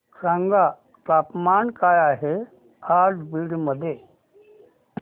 सांगा तापमान काय आहे आज बीड मध्ये